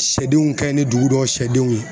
Sɛ denw ka ɲi ni dugu dɔw sɛ denw ye.